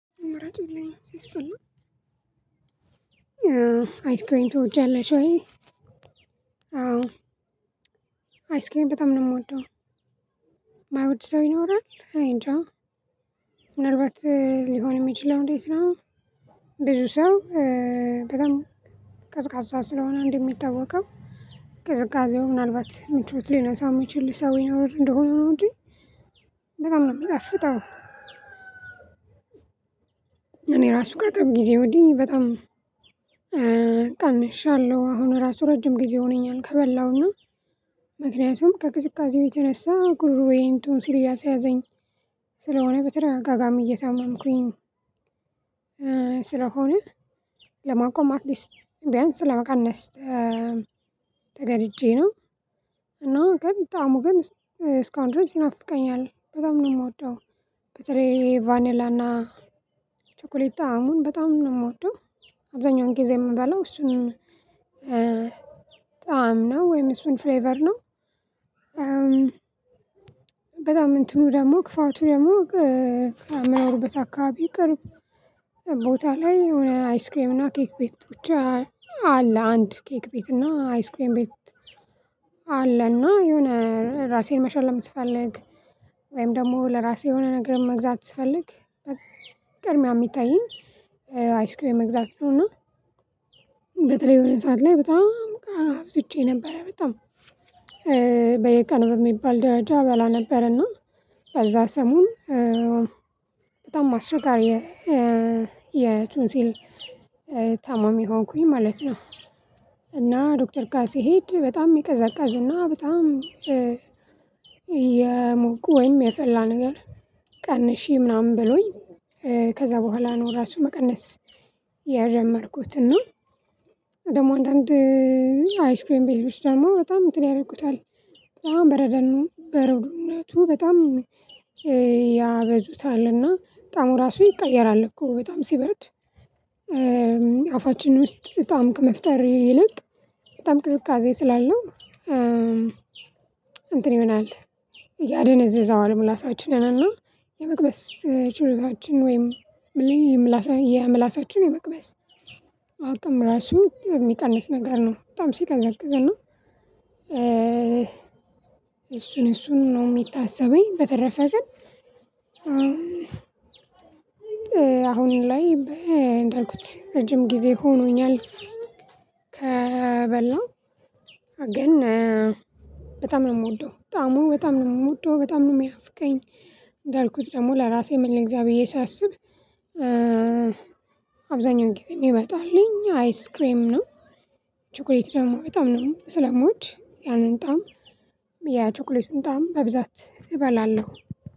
ምረጡልኝ ሲያስተላ አይስክሬም ትወጃለሽ ወይ? አዎ አይስኪሪም በጣም ነው። የምወደው የማይወድ ሰው ይኖራል እኔ እንጃ ምንልበት ሊሆን የሚችለው እንዴት ነው? ብዙ ሰው በጣም ቀዝቃዛ ስለሆነ እንደሚታወቀው ቅዝቃዜው ምናልባት ምቾት ሊነሳው የሚችል ሰው ይኖር እንደሆነ ነው እንጂ በጣም ነው የሚጣፍጠው። እኔ ራሱ ከአቅርብ ጊዜ ወዲህ በጣም ቀንሻለሁ አሁን ራሱ ረጅም ጊዜ ሆነኛል። ከበላሁና ምክንያቱም ከቅዝቃዜው የተነሳ ጉርሮዬን ቱንሲል እያሰያዘኝ ስለሆነ በተደጋጋሚ እየታመምኩኝ ስለሆነ ለማቆም አትሊስት ቢያንስ ለመቀነስ ተገድጄ ነው። እና ግን ጣዕሙ ግን እስካሁን ድረስ ይናፍቀኛል በጣም ነው የምወደው። በተለይ ቫኔላና ቸኮሌታ ጣዕሙን በጣም ነው የምወደው። አብዛኛውን ጊዜ የምበላው እሱን ጣዕም ነው ወይም እሱን ፍሌቨር ነው። በጣም እንትኑ ደግሞ ክፋቱ ደግሞ ከምኖርበት አካባቢ ቅርብ ቦታ ላይ የሆነ አይስክሬም እና ኬክ ቤት አለ። አንድ ኬክ ቤት እና አይስክሬም ቤት አለ። እና የሆነ ራሴን መሸለም ስፈልግ ወይም ደግሞ ለራሴ የሆነ ነገር መግዛት ስትፈልግ በቅድሚያ የሚታየኝ አይስክሪም መግዛት ነው። እና በተለይ የሆነ ሰዓት ላይ በጣም አብዝቼ ነበረ በጣም በየቀኑ በሚባል ደረጃ እበላ ነበር። እና በዛ ሰሞን በጣም አስቸጋሪ የቱንሲል ታማሚ ሆንኩኝ ማለት ነው። እና ዶክተር ጋር ስሄድ በጣም የቅዘቃዜና በጣም ወይም የጸላ ነገር ቀንሼ ምናምን ብሎኝ ከዛ በኋላ ነው ራሱ መቀነስ የጀመርኩት። እና ደግሞ አንዳንድ አይስክሬም ቤቶች ደግሞ በጣም እንትን ያደርጉታል በጣም በረደኑ በረዶነቱ በጣም ያበዙታል እና ጣዕሙ ራሱ ይቀየራል። እኮ በጣም ሲበረድ አፋችን ውስጥ ጣዕም ከመፍጠር ይልቅ በጣም ቅዝቃዜ ስላለው እንትን ይሆናል። ያደነዝዛዋል ምላሳችንና የመቅመስ ችሎታችን ወይም የምላሳችን የምላሳችን የመቅመስ አቅም ራሱ የሚቀንስ ነገር ነው። በጣም ሲቀዘቅዝ እና እሱን እሱን ነው የሚታሰበኝ። በተረፈ ግን አሁን ላይ እንዳልኩት ረጅም ጊዜ ሆኖኛል። ከበላሁ ግን በጣም ነው የምወደው። በጣም ነው የምወደው በጣም ነው የሚናፍቀኝ። እንዳልኩት ደግሞ ለራሴ ምን ልግዛ ብዬ ሳስብ እንግዲህ የሚመጣልኝ አይስክሬም ነው። ችኩሌት ደግሞ በጣም ነው ስለምወድ ያንን ጣዕም የቾኮሌቱን ጣዕም በብዛት እበላለሁ